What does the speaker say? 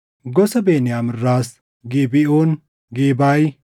Gosa Beniyaam irraas Gibeʼoon, Gebaaʼi,